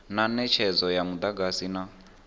na netshedzo ya mudagasi na